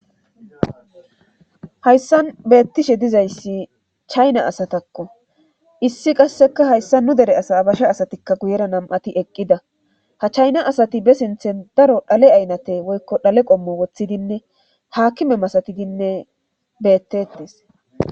Hayssan beettishe diza issi chayina asatakko .Issi qasseka hayssa nu dere asa abasha asatikka guyera nam'ati eqqida. Ha chayina asati ba sinthan daro xaale aynate woykko xaale qommo woththidinne haakime masatidinne beettettes.